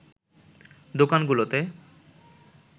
দোকানগুলোতে